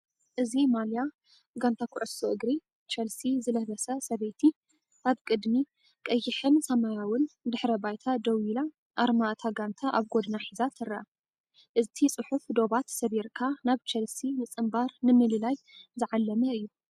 እዚ ማልያ ጋንታ ኩዕሶ እግሪ ቸልሲ ዝለበሰ ሰበይቲ ኣብ ቅድሚ ቀይሕን ሰማያውን ድሕረ ባይታ ደው ኢላ ኣርማ እታ ጋንታ ኣብ ጎድና ሒዛ ትረአ። እቲ ጽሑፍ ዶባት ሰቢርካ ናብ ቸልሲ ምጽንባር ንምልላይ ዝዓለመ ኢዩ።